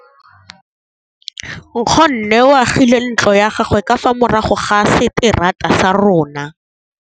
Nkgonne o agile ntlo ya gagwe ka fa morago ga seterata sa rona.